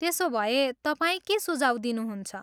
त्यसोभए, तपाईँ के सुझाव दिनुहुन्छ?